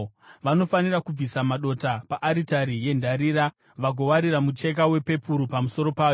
“Vanofanira kubvisa madota paaritari yendarira vagowarira mucheka wepepuru pamusoro payo.